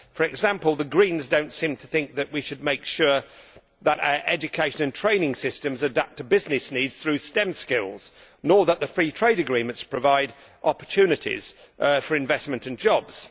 For example, the Greens do not seem to think that we should make sure that our education and training systems adapt to business needs through STEM skills, nor that the free trade agreements provide opportunities for investment and jobs.